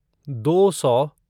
दो सौ